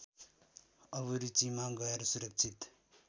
अभिरुचिमा गएर सुरक्षित